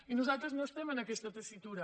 i nosaltres no estem en aquesta tessitura